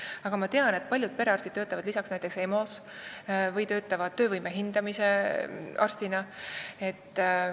Aga ma tean, et paljud perearstid töötavad lisaks näiteks EMO-s või ka töövõime hindamise arstina.